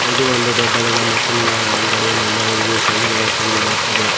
ಇದು ಒಂದು ದೊಡ್ಡದಾದ ಮಷೀನ್ನ ಅಂಗಡಿಯ ಮುಂಭಾಗದಿದು ಶೆಂದು ನಮಗೆ ತಿಳಿದುಬರುತ್ತದೆ.